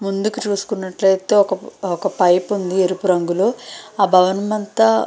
ముందుకు చూసుకున్నట్లయితే ఒక పైపు ఉంది ఎరుపు రంగులో ఆ భవనం అంతా --